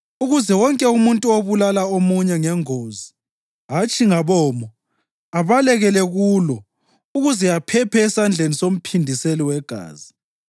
ukuze wonke umuntu obulala omunye ngengozi hatshi ngabomo abalekele kulo ukuze aphephe esandleni somphindiseli wegazi.